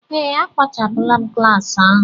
Ee, a kpochapụla m klas ahụ.